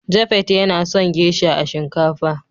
" Japheth yana son " geisha" a shinkafa.